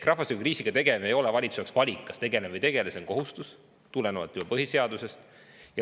Rahvastikukriisiga tegelemisel ei ole valitsuse jaoks valikut, kas tegeleme sellega või mitte, see on põhiseadusest tulenev kohustus.